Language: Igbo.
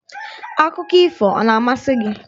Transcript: Akụkọ ifo a na-amasị gị?